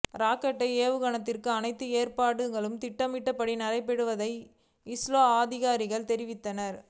ராக்கெட்டை ஏவுவதற்கான அனைத்து ஏற்பாடுகளும் திட்டமிட்டபடி நடைபெற்று வருவதாக இஸ்ரே அதிகாரிகள் தெரிவித்தனர்